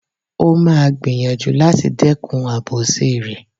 O máa gbìyànjú láti dẹ́kun àbòsí rẹ̀.